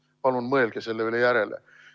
Palun mõelge selle üle järele!